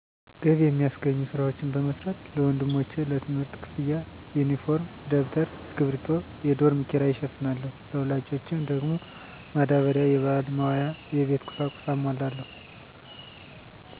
ገቢ የሚያስገኙ ስራዎችን በመስራት ለወንድሞቼ ለትምህርት ክፍያ፣ ዩኒፎርም፣ ደብተር፣ እስኪርቢቶ፣ የዶርም ኪራይ እሸፍናለሁ። ለወላጆች ደግሞ ማዳበሪያ፣ የበዓል መዋያ፣ የቤት ቁሳቁስ አሟላለሁ።